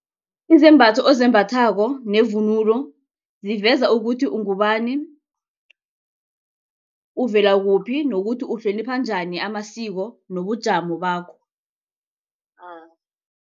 Izembatho ezembathako nevunulo ziveza ukuthi ungubani, uvela kuphi nokuthi uhlonipha njani amasiko nobujamo bakho.